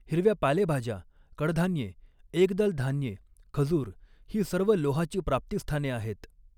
हिरव्या पालेभाज्या कडधान्ये एकदल धान्ये खजूर ही सर्व लोहाची प्राप्तिस्थाने आहेत.